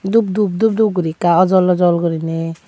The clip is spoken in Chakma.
dup dup dup dup guri ekka ojol ojol gurine.